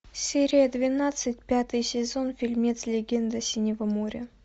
серия двенадцать пятый сезон фильмец легенда синего моря